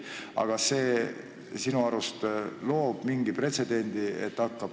Aga kas see sinu arust loob mingi pretsedendi?